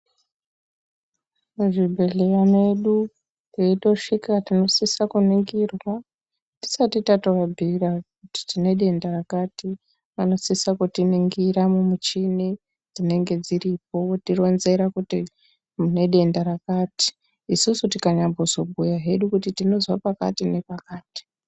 Muzvibhedhleya medu weitosvika tinosisa kuningirwa tisati tatovabhiira kuti tine denda rakati vanosisa kutiringira mumichini dzinenga dziripo otironzera kuti une denda rakati susu tikazonyambobhuya hedu kuti tinozwa pakati nepakati.